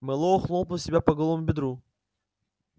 мэллоу хлопнул себя по голому бедру